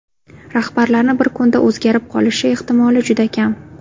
Rahbarlarni bir kunda o‘zgarib qolishi ehtimoli juda kam.